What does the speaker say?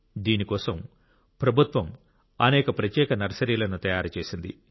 దీని కోసం ప్రభుత్వం అనేక ప్రత్యేక నర్సరీలను తయారు చేసింది